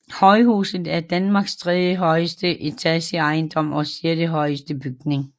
Højhuset er Danmarks tredjehøjeste etageejendom og sjettehøjeste bygning